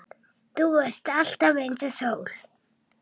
Þú varst alltaf einsog sól.